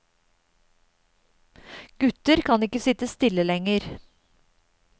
Gutter kan ikke sitte stille lenger.